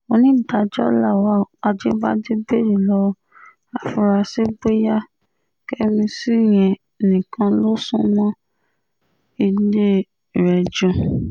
onídàájọ́ lawal ajíbádé béèrè lọ́wọ́ àfúráṣí bóyá kẹ́míìsì yẹn nìkan ló sún mọ́ ilé rẹ̀ jù